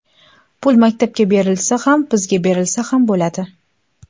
Pul maktabga berilsa ham, bizga berilsa ham bo‘ladi.